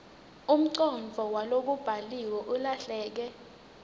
umcondvo walokubhaliwe ulahleke